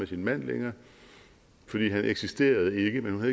sin mand længere for han eksisterede ikke men hun